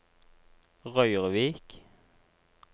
Røyrvik